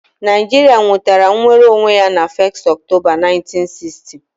Naijiria nwetara nnwere onwe ya na 1st Octoba 1960